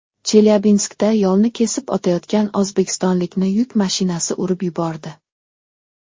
Chelyabinskda yo‘lni kesib o‘tayotgan o‘zbekistonlikni yuk mashinasi urib yubordi.